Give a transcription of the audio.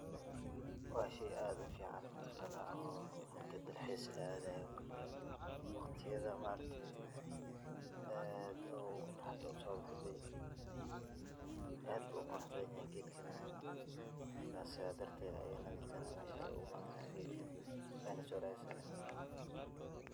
Waa shey aad ufican mataqanaa oo marki dalxis laadhay oo kale waqtiyadha maaragte aad farxad usobaxde. aad buu uqurux badhan yahay geedkan neh marka sidhaa darteed ayee na dadkan uguimadhana geedka weyna soo radsadhaan.